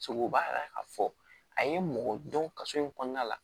Segu b'a la ka fɔ a ye mɔgɔ dɔn kaso in kɔnɔna la